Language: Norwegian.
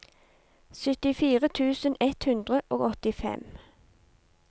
syttifire tusen ett hundre og åttifem